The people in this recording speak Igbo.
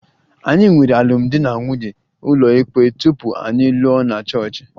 Anyị nwere alụmdi na nwunye ụlọikpe tupu anyị alụọ na Chọọchị